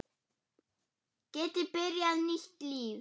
Geti byrjað nýtt líf.